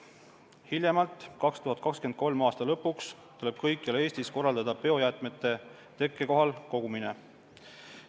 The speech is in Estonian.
Hiljemalt 2023. aasta lõpuks tuleb kõikjal Eestis korraldada biojäätmete tekkekohal kogumine.